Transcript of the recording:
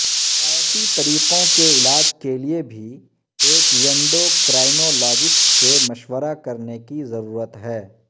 روایتی طریقوں کے علاج کے لئے بھی ایک ینڈوکرائنولاجسٹ سے مشورہ کرنے کی ضرورت ہے